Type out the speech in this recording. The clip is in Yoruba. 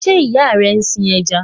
Does your mother raise fishes